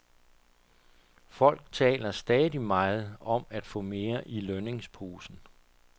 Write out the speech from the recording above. Folk taler stadig meget om at få mere i lønningsposen.